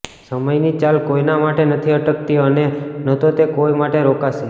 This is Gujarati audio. સમયની ચાલ કોઈના માટે નથી અટકતી અને ન તો તે કોઈ માટે રોકાશે